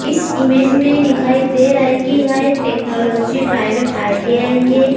इस इमेज में दिखाई दे रहा है की यह एक टेक्नॉलजी प्राइवेट आई.टी.आई. है।